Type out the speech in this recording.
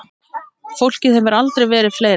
Fólkið hefur aldrei verið fleira.